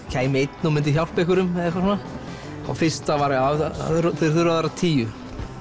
kæmi einn og myndi hjálpa einhverjum eða eitthvað svona fyrsta var að þeir þurfa að vera tíu